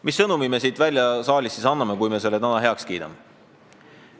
Mis sõnumi me siit saalist välja anname, kui me selle eelnõu heaks kiidame?